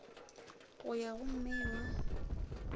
go ya go mei wa